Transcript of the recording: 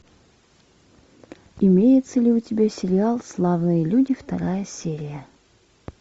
имеется ли у тебя сериал славные люди вторая серия